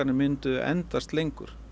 myndu endast lengur